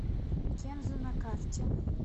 кензо на карте